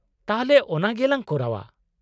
- ᱛᱟᱦᱞᱮ ᱚᱱᱟ ᱜᱮ ᱞᱟᱝ ᱠᱚᱨᱟᱣ ᱟ ᱾